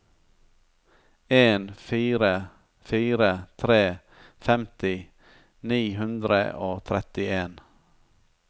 en fire fire tre femti ni hundre og trettien